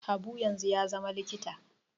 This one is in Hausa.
Habu yanzu ya zama likita